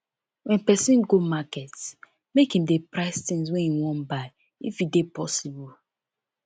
when person go market make im dey price things wey im wan buy if e dey possible